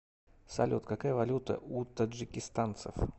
салют какая валюта у таджикистанцев